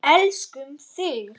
Elskum þig.